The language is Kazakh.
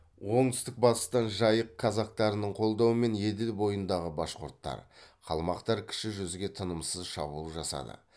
оңтүстік батыстан жайық казактарының қолдауымен еділ бойындағы башқұрттар қалмақтар кіші жүзге тынымсыз шабуыл жасады